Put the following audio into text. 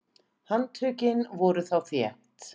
Handtökin voru þá þétt.